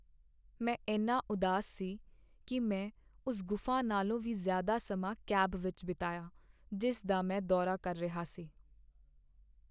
ਮੈਂ ਇੰਨਾ ਉਦਾਸ ਸੀ ਕਿ ਮੈਂ ਉਸ ਗੁਫ਼ਾ ਨਾਲੋਂ ਵੀ ਜ਼ਿਆਦਾ ਸਮਾਂ ਕੈਬ ਵਿੱਚ ਬਿਤਾਇਆ ਜਿਸ ਦਾ ਮੈਂ ਦੌਰਾ ਕਰ ਰਿਹਾ ਸੀ।